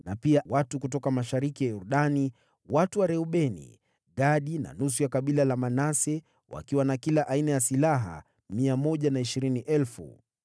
Na pia watu kutoka mashariki ya Yordani, watu wa Reubeni, Gadi na nusu ya kabila la Manase, wakiwa na kila aina ya silaha, watu 120,000.